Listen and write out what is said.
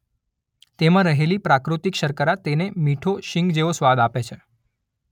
તેમાં રહેલી પ્રાકૃતિક શર્કરા તેને મીઠો શીંગ જેવો સ્વાદ આપે છે.